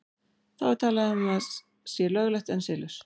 Þá er talað um að sé löglegt en siðlaust.